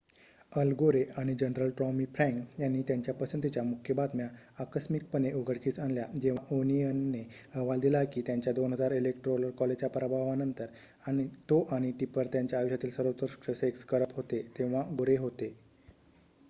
अल Gore आणि general Tommy Frank यांनी त्यांच्या पसंतीच्या मुख्य बातम्या आकस्मिकपणे उघडकीस आणल्या जेव्हा ओनियनने अहवाल दिला की त्याच्या 2000 इलेक्टोरल कॉलेजच्या पराभवानंतर तो आणि टिपर त्यांच्या आयुष्यातील सर्वोत्कृष्ट सेक्स करत होते तेव्हा गोरे होते